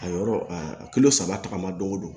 A yɔrɔ a kulo saba tagama don go don